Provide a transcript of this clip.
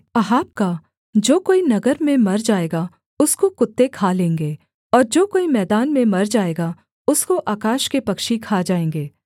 Ahab का जो कोई नगर में मर जाएगा उसको कुत्ते खा लेंगे और जो कोई मैदान में मर जाएगा उसको आकाश के पक्षी खा जाएँगे